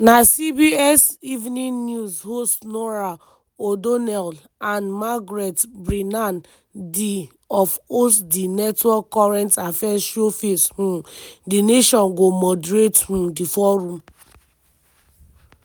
na cbs evening news host norah o'donnell and margaret brennan di of host di network current affairs show face um di nation go moderate um di forum.